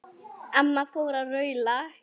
Amma fór að raula.